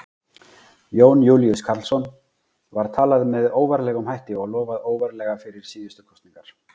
Jón Júlíus Karlsson: Var talað með óvarlegum hætti og lofað óvarlega fyrir síðustu kosningar?